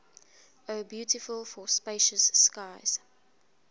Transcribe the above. o beautiful for spacious skies